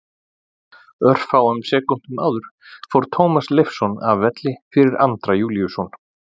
Örfáum sekúndum áður fór Tómas Leifsson af velli fyrir Andra Júlíusson.